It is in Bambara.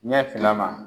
Ɲɛ finna ma